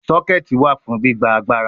Soketi wa fun gbigba agbara